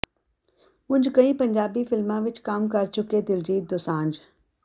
ਉਂਜ ਕਈ ਪੰਜਾਬੀ ਫਿਲਮਾਂ ਵਿੱਚ ਕੰਮ ਕਰ ਚੁੱਕੇ ਦਿਲਜੀਤ ਦੋਸਾਂਝ